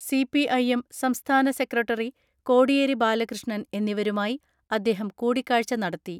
CP. IM സംസ്ഥാന secretary Kodiyeri Balakrishnan എന്നിവരുമായി അദ്ദേഹം കൂടിക്കാഴ്ച നടത്തി.